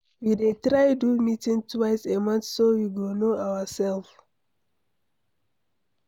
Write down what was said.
We dey try do meeting twice a month so we go no ourselves